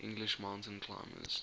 english mountain climbers